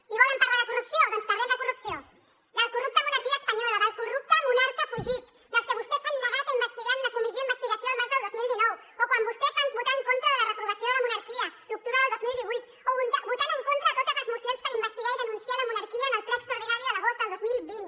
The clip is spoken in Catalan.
i volen parlar de corrupció doncs parlem de corrupció de la corrupta monarquia espanyola del corrupte monarca fugit a qui vostès s’han negat a investigar en una comissió d’investigació el març del dos mil dinou o quan vostès van votar en contra de la reprovació de la monarquia l’octubre del dos mil divuit o votant en contra a totes les mocions per investigar i denunciar la monarquia en el ple extraordinari de l’agost del dos mil vint